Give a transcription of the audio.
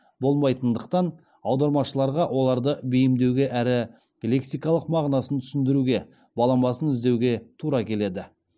болмайтындықтан аудармашыларға оларды бейімдеуге әрі лексикалық мағынасын түсіндіруге баламасын іздеуге тура келеді